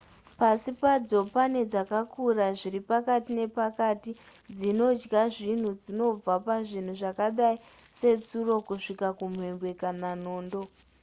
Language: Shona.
pasi padzo pane dzakakura zviri pakati nepakati dzinodya zvinhu zvinobva pazvinhu zvakadai setsuro kusvika kumhembwe kana nondo